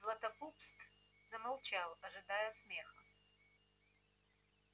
златопуст замолчал ожидая смеха